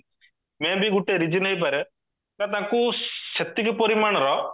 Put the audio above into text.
may be ଗୋଟେ reason ହେଇପାରେ ତାଙ୍କୁ ସେତିକି ପରିମାଣର